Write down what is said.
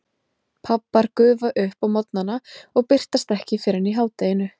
Pabbar gufa upp á morgnana og birtast ekki fyrr en í hádeginu.